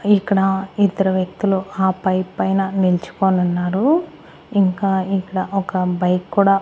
ఇక్కడ ఇద్దరు వ్యక్తులు ఆ బైక్ పైన నిల్చుకొని ఉన్నారు ఇంకా ఇక్కడ ఒక బైక్ కూడా.